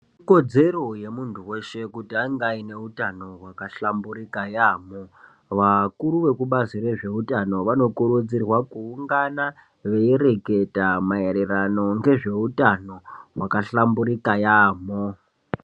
Ikodzero yemuntu veshe kuti ange aine utano hwakahlamburika yaambo. Vakuru vekubazi rezveutano vanokurudzirwa kuungana veireketa maererano ngezveutano hwakahlamburika yaambo.